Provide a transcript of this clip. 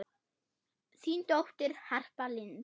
Þín dóttir, Harpa Lind.